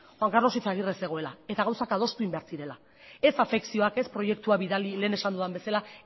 juan carlos izagirre zegoela eta gauzak adostu egin behar zirela ez afekzioak ez proiektua bidali lehen esan dudan bezala